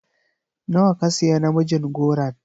Nawa ka siya namijin goron?